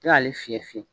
K'ale fiyɛ fiyewu